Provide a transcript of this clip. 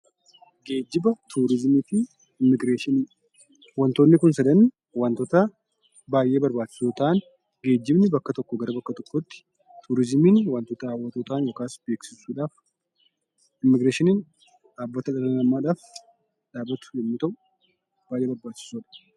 Geejjiba, turizimii fi immigireeshinii. Wantoonni kun sadan wantotaa baayyee barbaachisoo ta'an; geejjibni bakka tokkoo gara bakka tokkootti, turizimiin wantoota hawwatoo ta'an yokaas beeksisuudhaaf immigireeshiniin dhaabbata dhala namaadhaaf dhaabbatu yemmuu ta'u baay'ee barbaachisoodha.